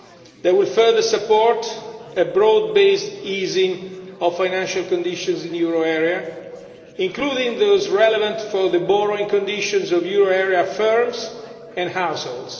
They will further support a broad based easing of financial conditions in the euro area, including those relevant for the borrowing conditions of euro area firms and households.